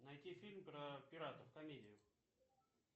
найти фильм про пиратов комедию